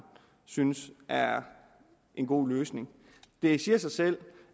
synes er en god løsning det siger sig selv